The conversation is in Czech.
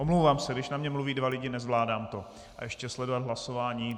Omlouvám se, když na mě mluví dva lidi, nezvládám to, a ještě sledovat hlasování.